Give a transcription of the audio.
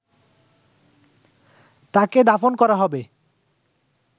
তাকে দাফন করা হবে